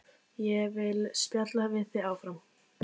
Ég vil spjalla við þig áfram.